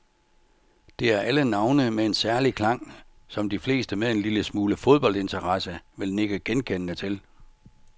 Det er alle navne med en særlig klang, som de fleste med en lille smule fodboldinteresse vil nikke genkendende til.